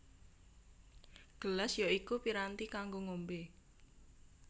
Gelas ya iku piranti kanggo ngombé